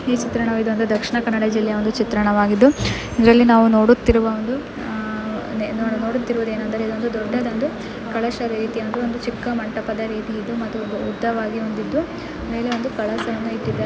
ಈ ಚಿತ್ರಣ ಇದು ದಕ್ಷಿಣ ಕನ್ನಡ ಜಿಲ್ಲೆಯ ಒಂದು ಚಿತ್ರಣವಾಗಿದ್ದು ಇಲ್ಲಿ ನಾವು ನೋಡುತ್ತಿರುವ ಒಂದು--ನೋಡುತ್ತಿರುವುದಎನಂದರೆ ಇದೊಂದು ದೊಡ್ಡದಾದ ಕಲಶ ರೀತಿಯ ಒಂದು ಚಿಕ್ಕ ಮಂಟಪದ ರೀತಿ ಇದು ಮತ್ತು ಉದ್ದವಾಗಿ ಹೊಂದಿದ್ದು ಮೇಲೆ ಒಂದು ಕಳಸವನ್ನು ಇಟ್ಟಿದ್ದಾ --